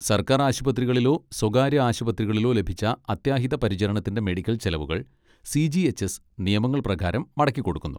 സർക്കാർ ആശുപത്രികളിലോ സ്വകാര്യ ആശുപത്രികളിലോ ലഭിച്ച അത്യാഹിത പരിചരണത്തിൻ്റെ മെഡിക്കൽ ചെലവുകൾ സി. ജി. എച്ച്. എസ് നിയമങ്ങൾ പ്രകാരം മടക്കിക്കൊടുക്കുന്നു.